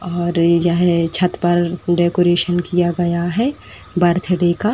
और यह छत पर डेकोरेसन किया गया है बर्थडे का।